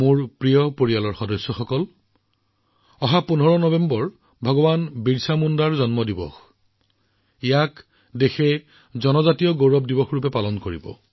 মোৰ পৰিয়ালৰ সদস্যসকল সমগ্ৰ দেশে ১৫ নৱেম্বৰত জনজাতীয় গৌৰৱ দিৱস পালন কৰিব